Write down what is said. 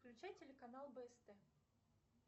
включи телеканал бст